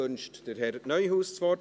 Wünscht Herr Neuhaus das Wort?